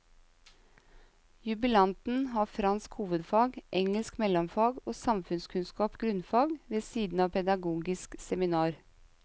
Jubilanten har fransk hovedfag, engelsk mellomfag og samfunnskunnskap grunnfag ved siden av pedagogisk seminar.